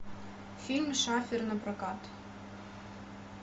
фильм шафер напрокат